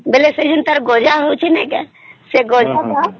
ବେଳେ ତାର ଯୋଉ ଗଜା ହୋଉଛି ନାଇଁ କେ ସେ ଗଜା ତା